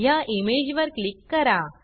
ह्या इमेजवर क्लिक करा